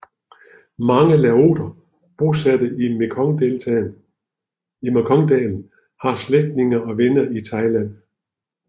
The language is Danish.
Mange laoter bosatte i Mekongdalen har slægtninge og venner i Thailand